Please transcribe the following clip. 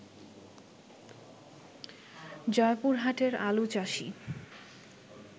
জয়পুরহাটের আলুচাষী